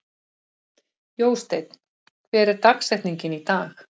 Jósteinn, hver er dagsetningin í dag?